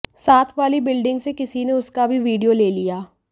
साथ वाली बिल्डिंग से किसी ने उसका भी वीडियो ले लिया